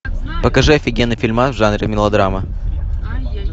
покажи офигенный фильмас в жанре мелодрама